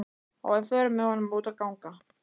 Og við förum með honum út að ganga.